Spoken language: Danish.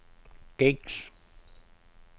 gængs